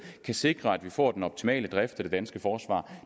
kan sikre at vi får den optimale drift af det danske forsvar